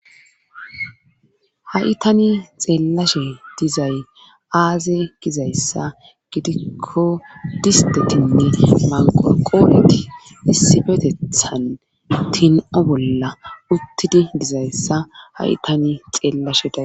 Ha7i tani xeellashe dizay aaze gizayssa gidikko distetinne maqo qooleti issibetethan tin7o bolla uttidi dizayssa ha7i tani xeellashe da